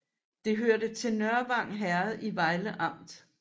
Det hørte til Nørvang Herred i Vejle Amt